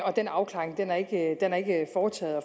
og den afklaring har ikke